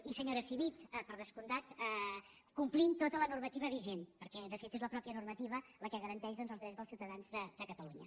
i senyora civit per descomptat complint tota la normativa vigent perquè de fet és la mateixa normativa la que garanteix doncs els drets dels ciuta·dans de catalunya